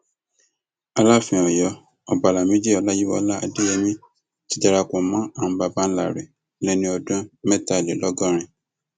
alaafin ọyọ ọba lamidi ọláyíwọlá adéyẹmi ti darapọ mọ àwọn baba ńlá rẹ lẹni ọdún mẹtàlélọgọrin